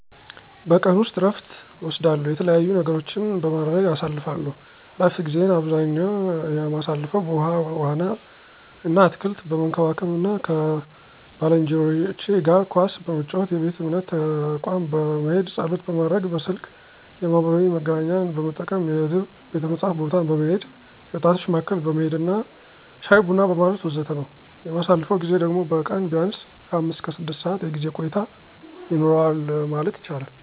በቀን ውስጥ እረፍት እወስዳለው፥ የተለያዩ ነገሮችን በማድረግ አሳልፍለው። እረፍት ጊዜየን አብዛኛ የማሳልፈው በውሀ ዋና አና አትክልት በመንከባከብ አና ከባልንጄኖቸ ጋር ኳስ በመጫወት፣ የቤተ እምነት ተቋም በመሄድ ፀሎት ማድረግ፣ በስልክ የማህበራዊ መገናኛን በመጠቀም፣ የሕዝብ ቤተ መጽሀፍት ቦታ በመሄድ፣ የወጣቶች ማዕከል በመሄድና ሻይ ቡና በማለት ወዘተ ነው። የማሳልፈው ጊዜ ደግሞ በቀን ቢያንስ ከአምስት እስከ ስድስት ሰዓት የጊዜ ቆይታ ይኖረዋል ማለት ይቻላል።